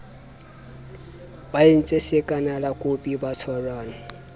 ba entse sakanalankope ba tshwarane